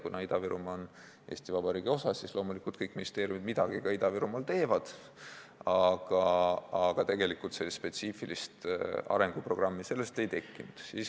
Kuna Ida-Virumaa on Eesti Vabariigi osa, siis loomulikult kõik ministeeriumid midagi Ida-Virumaal ka teevad, aga tegelikult spetsiifilist arenguprogrammi ei tekkinud.